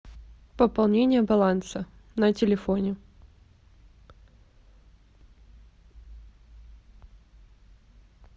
пополнение баланса на телефоне